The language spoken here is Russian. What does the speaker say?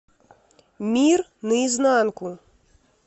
мир наизнанку